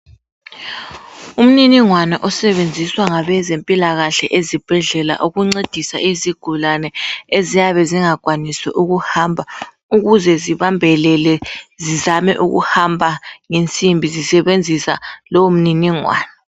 Umniningwana osebenziswa ngabezempilakahle ezibhedlela ukuncedisa izigulane eziyabe zingakwanisi ukuhamba ukuze zibambelele zizame ukuhamba ngensimbi zisebenzisa lowo mniningwana.